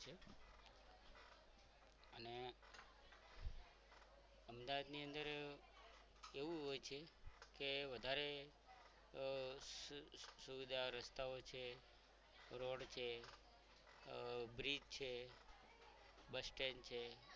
અમદાવાદની અંદર એવું હોય છે કે વધારે સુવિધાઓ રસ્તાઓ રોડ છે આ bridge છે bus stand છે.